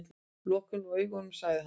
Lokiði nú augunum, sagði hann.